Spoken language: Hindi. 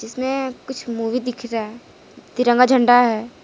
वह कुछ मूवी दिख रहा है तिरंगा झंडा है।